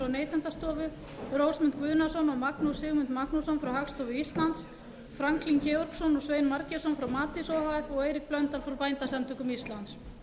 neytendastofu rósmund guðnason og magnús sigmund magnússon frá hagstofu íslands franklín georgsson og svein margeirsson frá matís o h f og eirík blöndal frá bændasamtökum íslands